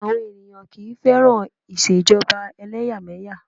Àwọn ènìyàn kì í fẹ́ràn Ìṣèjọba ẹlẹ́yàmẹ̀yà.